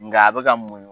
Nga a bɛ ka mun